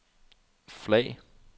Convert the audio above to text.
flag